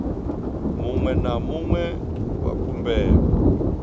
muṅwe na muṅwe wa khumbelo